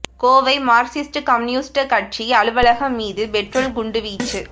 Kovai Marxist Communist கட்சி அலுவலகம் மீது பெட்ரோல் குண்டு வீச்சு